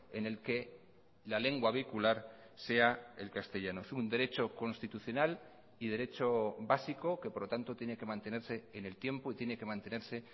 en el que la lengua vehicular sea el castellano es un derecho constitucional y derecho básico que por lo tanto tiene que mantenerse en el tiempo y tiene que mantenerse